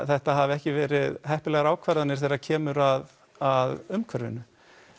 þetta hafi ekki verið heppilegar ákvarðanir þegar kemur að að umhverfinu